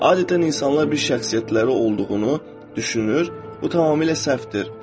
Adətən insanlar bir şəxsiyyətləri olduğunu düşünür, bu tamamilə səhvdir.